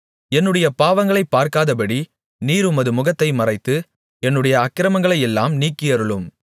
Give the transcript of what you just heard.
என்னுடைய பாவங்களைப் பார்க்காதபடி நீர் உமது முகத்தை மறைத்து என்னுடைய அக்கிரமங்களையெல்லாம் நீக்கியருளும்